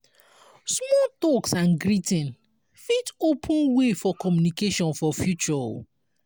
small talks and greeting fit open way for communication for future o